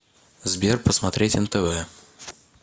сбер посмотреть нтв